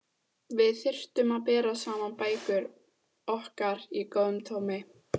Við þyrftum að bera saman bækur okkar í góðu tómi.